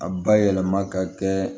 A bayɛlɛma ka kɛ